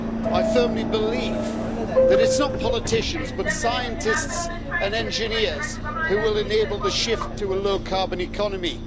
I firmly believe that it's not politicians, but scientists and engineers who will enable the shift to a low-carbon economy.